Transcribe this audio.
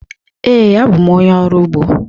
Ee, abụ m onye ọrụ ugbo.